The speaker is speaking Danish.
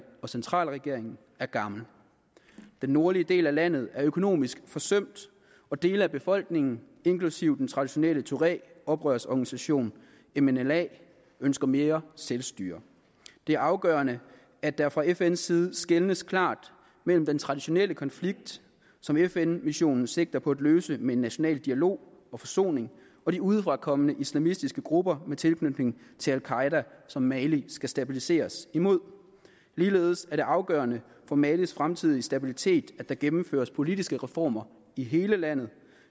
og centralregeringen er gammel den nordlige del af landet er økonomisk forsømt og dele af befolkningen inklusive den traditionelle tuaregoprørsorganisation mnla ønsker mere selvstyre det er afgørende at der fra fns side skelnes klart mellem den traditionelle konflikt som fn missionen sigter på at løse med en national dialog og forsoning og de udefra kommende islamistiske grupper med tilknytning til al qaeda som mali skal stabiliseres imod ligeledes er det afgørende for malis fremtidige stabilitet at der gennemføres politiske reformer i hele landet